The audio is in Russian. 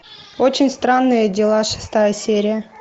очень странные дела шестая серия